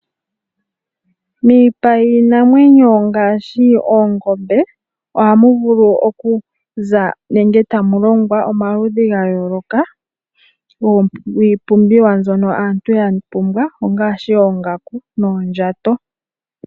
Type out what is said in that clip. Miipa yiinamwenyo ngaashi oongombe ohamu vulu okuza nenge tamu longwa omaludhi ga yooloka giipumbiwa mbyono aantu ya pumbwa ngaashi oongaku noondjato.